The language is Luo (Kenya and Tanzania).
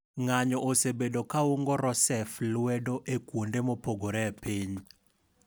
Ng'anyo osebedo kaungo Rousseff lwedo e kuonde mopogore e piny.